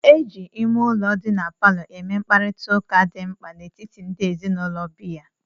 E ji ime ụlọ dị na palọ eme mkparịta ụka dị mkpa n'etiti ndị ezinụlọ bi ya.